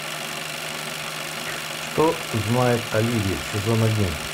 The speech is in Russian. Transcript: что знает оливия сезон один